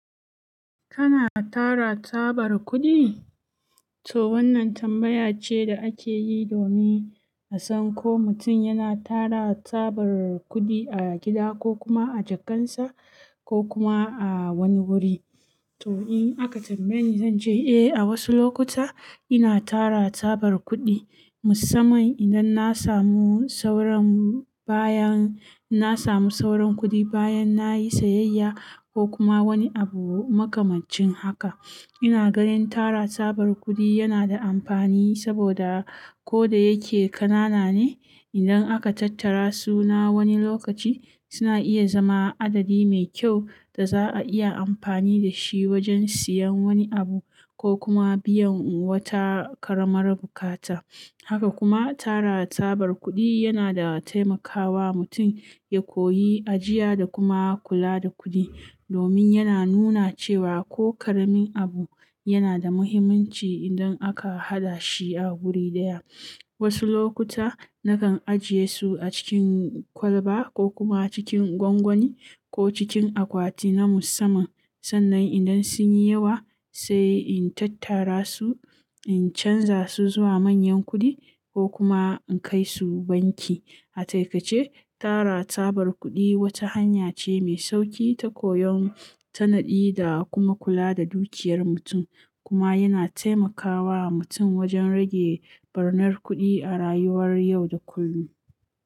Kana tara tsabar kuɗi? To wannan tambaya ce da ake yi domin a san ko mutum yana tara tsabar kuɗi a gida ko kuma a jakarsa ko kuma a wani wuri. To in aka tambaye ni zan ce eh, a wasu lokuta ina tara tsabar kuɗi, musamman idan na samu sauran bayan, na samu sauran kuɗi bayan nayi sayayya ko kuma wani abu makamancin haka. Ina ganin tara tabar kuɗi yana da amfani saboda ko da yake ƙanana ne, idan aka tattara su na wani lokaci suna iya zama adadi mai kyau da za'a iya amfani da shi wajen siyan wani abu ko kuma biyan wata ƙaramar buƙata. Haka kuma tara tsabar kuɗi yana taimakawa mutum ya koyi ajiya da kuma kula da kuɗi domin yana nuna cewa ko ƙaramin abu yana da muhimmanci idan aka haɗa shi a wuri ɗaya. Wasu lokuta nakan ajiye su a cikin kwalba ko kuma cikin gwangwani ko cikin akwati na musamman. Sannan idan sun yi yawa sai in tattara su, in canza su zuwa manyan kuɗi ko kuma in kai su banki. A taƙaice tara tsabar kuɗi wata hanya ce mai sauƙi ta koyon tanadi da kuma kula da dukiyar mutum kuma yana taimakawa mutum wajen rage ɓarnar kuɗi a rayuwar yau da kullum.